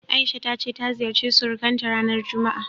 A'isha ta ce ta ziyarci surukanta ranar juma'a.